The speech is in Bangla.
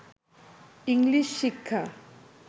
ইংলিশ শিক্ষা